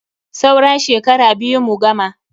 Saura shekara biyu mu gama.